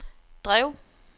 drev